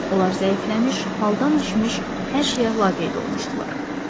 Onlar zəifləmiş, haldan düşmüş, hər şeyə laqeyd olmuşdular.